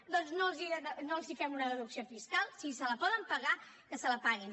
doncs no els fem una deducció fiscal si se la poden pagar que se la paguin